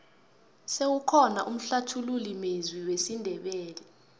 sewukhona umhlathululi mezwi wesindebele